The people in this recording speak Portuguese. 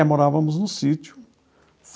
Morávamos no sítio.